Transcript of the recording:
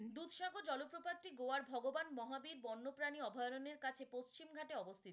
দুধসাগর জলপ্রপাতটি গোয়ার ভগবান মহাবীর বন্যপ্রাণী অভয়ারণ্যের কাছে পশ্চিমঘাটে অবস্থিত।